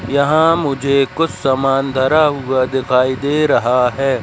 यहां मुझे कुछ समान धरा हुआ दिखाई दे रहा है।